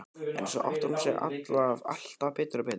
En svo áttar hún sig alltaf betur og betur.